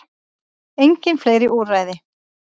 Engin fleiri úrræði